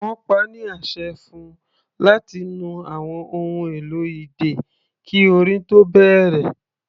Wọ́n pa á ní àṣẹ fún-un láti nu àwọn ohun èlò idẹ kí orin tó bẹ̀rẹ̀.